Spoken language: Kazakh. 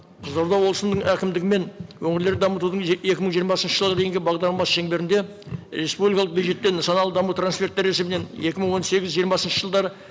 қызылорда облысының әкімдігімен өңірлер дамытудың екі мың жиырмасыншы жылға дейінгі бағдарламасы шеңберінде республикалық бюджеттен нысаналы даму транферті рәсімінен екі мың он сегіз жиырмасыншы жылдары